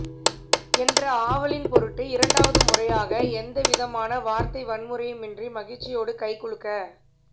என்ற ஆவலின் பொருட்டு இரண்டாவது முறையாக எந்த விதமான வார்த்தை வன்முறையுமின்றி மகிழ்ச்சியோடு கைகுலுக்க